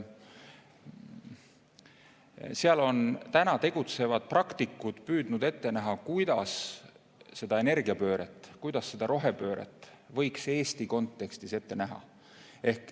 Selles on täna tegutsevad praktikud püüdnud ette näha, kuidas energiapööret, kuidas seda rohepööret võiks Eesti kontekstis ette näha.